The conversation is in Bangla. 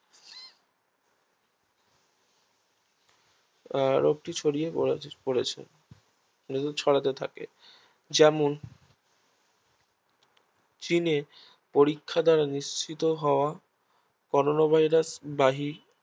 রোগটি ছড়িয়ে পড়েছে রোগটি ছড়াতে থাকে যেমন চীনে পরীক্ষা দ্বারা নিশ্চিত হওয়া করোনা Virus বাহি